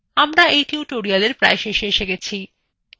আমরা এই tutorial এর প্রায় শেষে এসে গেছি